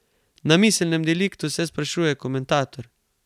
Na miselnem deliktu, se sprašuje komentator.